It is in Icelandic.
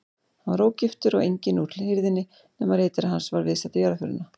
Hann var ógiftur og enginn úr hirðinni nema ritari hans var viðstaddur jarðarförina.